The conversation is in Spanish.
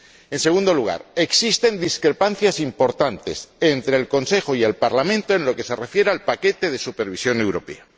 En segundo lugar, existen discrepancias importantes entre el Consejo y el Parlamento en lo que se refiere al paquete de supervisión europea.